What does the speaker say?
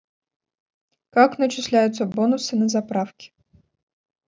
как начисляются бонусы на заправке